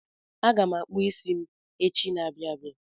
Aga m akpụ isi m echi n'abia abịa.